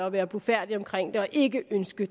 at være blufærdig om det og ikke ønske